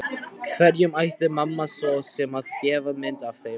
Hverjum ætti mamma svo sem að gefa mynd af þeim?